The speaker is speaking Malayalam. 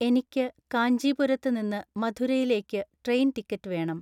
എനിക്ക് കാഞ്ചീപുരത്ത് നിന്ന് മധുരയിലേക്ക് ട്രെയിൻ ടിക്കറ്റ് വേണം